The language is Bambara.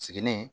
Sigini